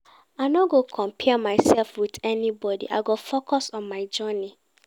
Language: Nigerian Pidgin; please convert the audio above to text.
I no go compare mysef wit anybody, I go focus on my own journey.